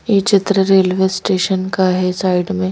ये चित्र railway station का है साइड में --